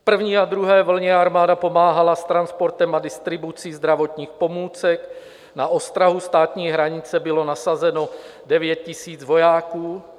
V první a druhé vlně armáda pomáhala s transportem a distribucí zdravotních pomůcek, na ostrahu státní hranice bylo nasazeno 9 000 vojáků.